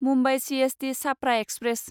Mumbai CST Chhapra express